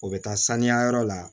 O bɛ taa saniya yɔrɔ la